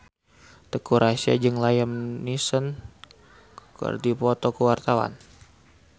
Teuku Rassya jeung Liam Neeson keur dipoto ku wartawan